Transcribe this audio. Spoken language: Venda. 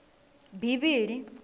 bivhili